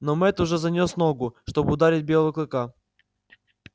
но мэтт уже занёс ногу чтобы ударить белого клыка